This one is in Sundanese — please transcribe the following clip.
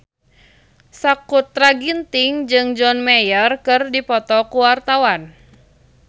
Sakutra Ginting jeung John Mayer keur dipoto ku wartawan